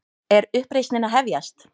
Er uppreisnin að hefjast?